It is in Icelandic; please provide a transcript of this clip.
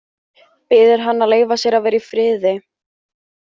Biður hana að leyfa sér að vera í friði.